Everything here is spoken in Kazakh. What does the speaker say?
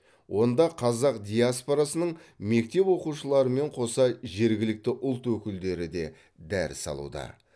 онда қазақ диаспорасының мектеп оқушыларымен қоса жергілікті ұлт өкілдері де дәріс алуда